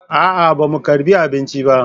A'a, ba mu karɓi abinci ba